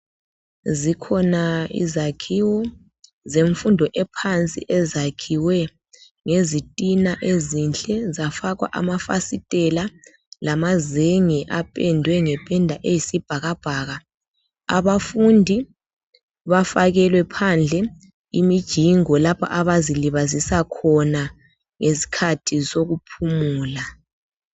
Zikhona izakhiwo zemfundo ephansi ezakhiwe ngezitina ezinhle zafakwa amafasitela lamazenge apendwe nge penda eyisibhakabhaka abafundi bafakelwe phandle imijingo lapho abazilibazisa khona ngesikhathi sokuphumula.